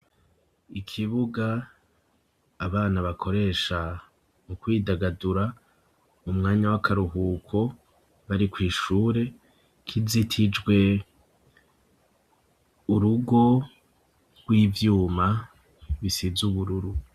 Ikibuga abana bakoresha mu kwidagadura mu mwanya w'akaruhuko bari kw'ishure rizitijwe urugo rw'ivyuma bisize ubururu.